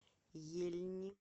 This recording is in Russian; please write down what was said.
ельни